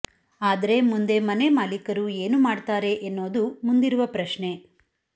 ಆದ್ರೆ ಮುಂದೆ ಮನೆ ಮಾಲೀಕರು ಏನು ಮಾಡ್ತಾರೆ ಎನ್ನೋದು ಮುಂದಿರುವ ಪ್ರಶ್ನೆ